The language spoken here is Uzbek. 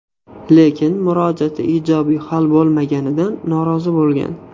Lekin murojaati ijobiy hal bo‘lmaganligidan norozi bo‘lgan.